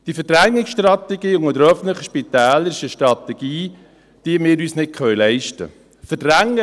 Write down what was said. Diese Verdrängungsstrategie unter den öffentlichen Spitälern ist eine Strategie, die wir uns nicht leisten können.